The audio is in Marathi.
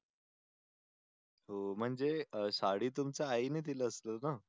तो म्हणजे साडी तुमच्या आईने दिले असेल ना.